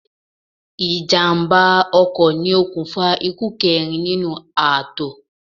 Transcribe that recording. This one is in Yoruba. Ìjàm̀bá ọkọ ni okùnfà ikú kẹrin nínú ààtò.